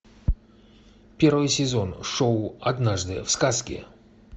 первый сезон шоу однажды в сказке